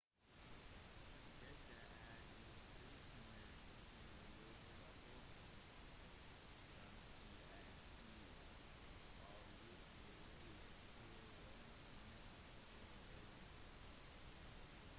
dette er i strid med tidligere rapporter som sa at å avlyse ville ha vært imot grunnloven